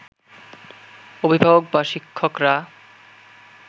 অভিভাবক বা শিক্ষকরা